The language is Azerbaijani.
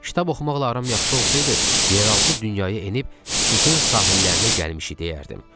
Kitab oxumaqla aram yaxşı olsaydı, yeraltı dünyaya enib Stixin sahillərinə gəlmişik deyərdim.